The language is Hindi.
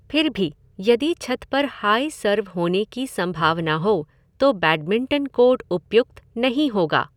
फिर भी, यदि छत पर हाई सर्व होने की संभावना हो तो बैडमिंटन कोर्ट उपयुक्त नहीं होगा।